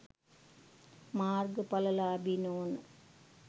මාර්ග ඵලලාභි නොවන